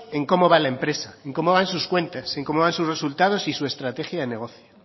en cómo va la empresa y en cómo van sus cuentas cómo van sus resultados y su estrategia de negociación